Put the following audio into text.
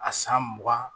A san mugan